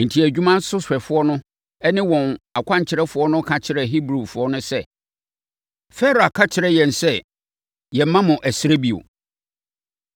Enti, adwumasohwɛfoɔ ne wɔn akwankyerɛfoɔ no ka kyerɛɛ Hebrifoɔ no sɛ, “Farao aka akyerɛ yɛn sɛ yɛmmma mo ɛserɛ bio.